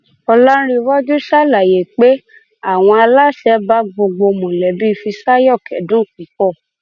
ọlàǹrẹwájú ṣàlàyé pé àwọn aláṣẹ bá gbogbo mọlẹbí fíṣàyò kẹdùn púpọ